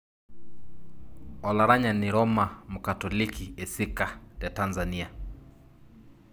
Olaranyani Roma Mkatoliki esika te Tanzania.